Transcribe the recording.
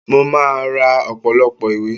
Mo máa ra ọ̀pọ̀lọpọ̀ ìwé